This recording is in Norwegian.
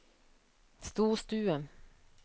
storstue